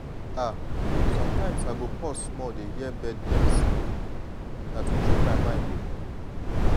ah sometimes i go pause small dey hear bird dem sing na to train my mind o.